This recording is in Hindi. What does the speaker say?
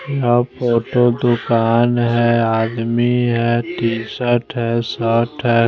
दुकान है आदमी है टी शर्ट है शर्ट है।